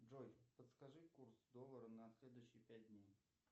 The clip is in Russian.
джой подскажи курс доллара на следующие пять дней